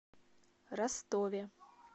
ростове